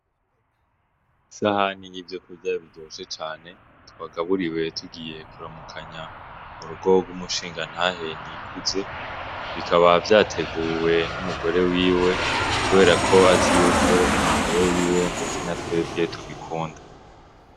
Isahani y'ivyokurya biryoshe cane, twagaburiwe tugiye kuramukanya mu rugo rw' umushingantahe Nikuze, bikaba vyateguwe n'umugore wiwe kubera ko azi yuko uwo mugabo wiwe ndetse na twebwe tubikunda.